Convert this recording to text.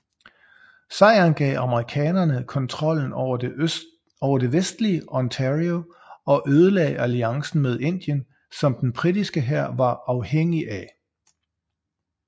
Sejren gav amerikanerne kontrollen over det vestlige Ontario og ødelagde alliancen med Indien som den britiske hær var afhængig af